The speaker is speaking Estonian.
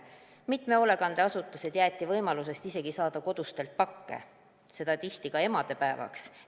Mitmes hoolekandeasutuses jäädi ilma isegi võimalusest saada kodustelt pakke, seda ka emadepäevaks.